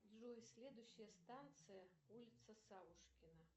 джой следующая станция улица савушкина